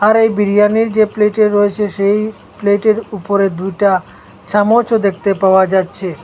আর এই বিরিয়ানির যে প্লেটে রয়েছে সেই প্লেটের উপরে দুইটা চামচও দেখতে পাওয়া যাচ্ছে।